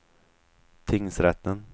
tingsrätten